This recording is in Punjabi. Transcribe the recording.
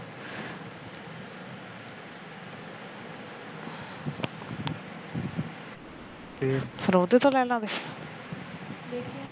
ਫਿਰ ਉਹਤੋ ਲੈ ਲਵਾਗੇ